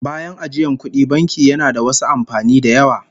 Bayan ajiyan kudi, banki yana da wasu amfanin da yawa